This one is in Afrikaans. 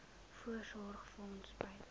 voorsorgfonds bydrae